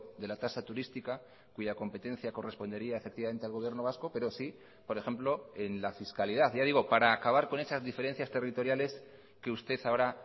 de la tasa turística cuya competencia correspondería efectivamente al gobierno vasco pero sí por ejemplo en la fiscalidad ya digo para acabar con esas diferencias territoriales que usted ahora